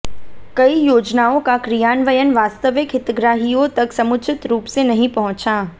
कई योजनाओ का क्रियान्वयन वास्तविक हितग्राहियो तक समुचित रूप से नही पहुचा